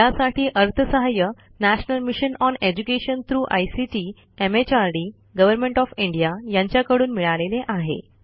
यासाठी अर्थसहाय्य national mission on education through ICT MHRD government of India यांच्याकडून मिळालेले आहे